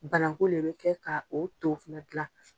Bananku le bɛ kɛ ka o to fana gilan.